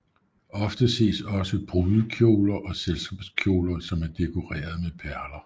Ofte ses også brudekjoler og selskabskjoler som er dekoreret med perler